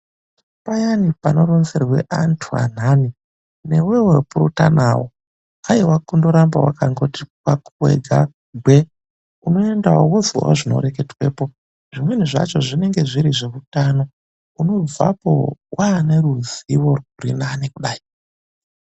Payani panoronzerwe antu andani newewo purutanawo. Aiwa kundoramba wakati kwako wega gwee, unoendawo wozwewo zvinoreketwepo. Zvimweni zvacho zvinenge zviri zveutano, unobvapo wanerizivo rwurinani kudai.